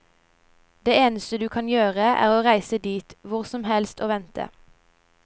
Det eneste du kan gjøre, er å reise dit, hvor som helst og vente.